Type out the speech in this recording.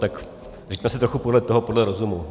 Tak se řiďme trochu podle toho, podle rozumu.